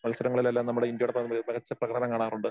മത്സരങ്ങളിലെല്ലാം നമ്മടെ ഇന്ത്യയുടെ മികച്ച പ്രകടനം കാണാറുണ്ട്